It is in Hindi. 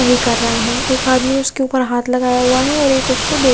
नहीं कर रहे है एक आदमी उसके ऊपर हात लगाया हुआ है और एक उसको --